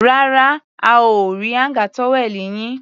Rárá, a ò rí áńgà tówẹ́ẹ̀nù yín.